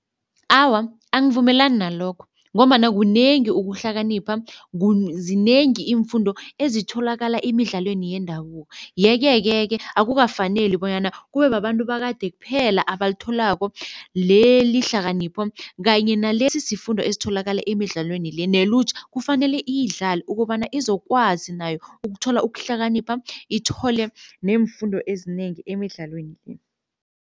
Awa, angivumelani nalokho ngombana kunengi ukuhlakanipha zinengi iimfundo ezitholakala emidlalweni yendabuko. Yeke-ke ke akukafaneli bonyana kube babantu bakade kuphela abalitholako leli hlakanipho kanye nalesi sifundo esitholakala emidlalweni le nelutjha kufanele iyidlale ukobana izokwazi nayo ukuthola ukuhlakanipha, ithole neemfundo ezinengi emidlalweni le.